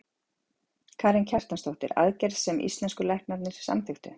Karen Kjartansdóttir: Aðgerð sem íslensku læknarnir samþykktu?